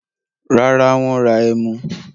Rárá, wọ́n ra ẹmu.